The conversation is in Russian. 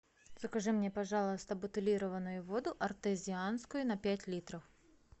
закажи мне пожалуйста бутилированную воду артезианскую на пять литров